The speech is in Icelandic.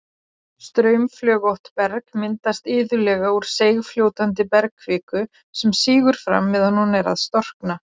Straumflögótt berg myndast iðulega úr seigfljótandi bergkviku sem sígur fram meðan hún er að storkna.